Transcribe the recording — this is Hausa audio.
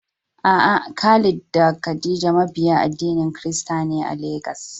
A'a, Khalid da Khadija mabiya addinin Kirista ne a Legas.